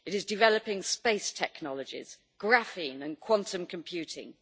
It is developing space technologies, graphene and quantum computing.